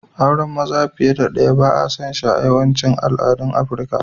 Auren maza fiyar da daya ba'a son shi a yawacin aladan Aprica.